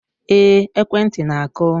Ee, ekwentị na-akụ